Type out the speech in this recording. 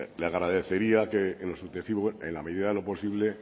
le agradecería que en lo sucesivo en la medida de lo posible